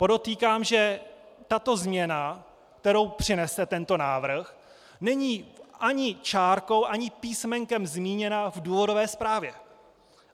Podotýkám, že tato změna, kterou přinese tento návrh, není ani čárkou ani písmenkem zmíněna v důvodové zprávě.